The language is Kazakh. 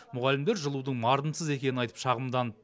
мұғалімдер жылудың мардымсыз екенін айтып шағымданып